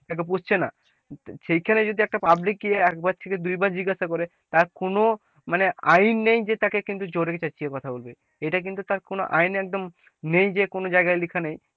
তাকে পুষছে না সেইখানে যদি একটা public একবার থেকে দুইবার জিজ্ঞাসা করে তার কোন মানে আইন নেই যে তাকে কিন্তু জোরে চেঁচিয়ে কথা বলবে, এটা কিন্তু কোন আইন একদম নেই কোন জায়গায় লেখা নেই,